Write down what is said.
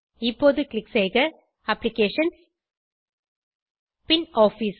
இப்போது க்ளிக் செய்க அப்ளிகேஷன்ஸ் பின் ஆஃபிஸ்